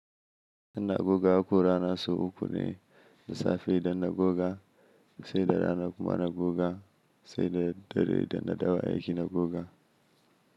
Ina goga haƙora na su uku ne: lissafi idon na goga, sai da rana kuma na goga, sai da dare da na dawo aiki na goga.